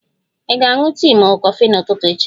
Ị ga-aṅụ tii ma ọ bụ kọfị n'ụtụtụ echi?